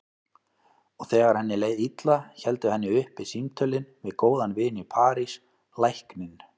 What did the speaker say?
Og þegar henni leið illa héldu henni uppi símtölin við góðan vin í París, lækninn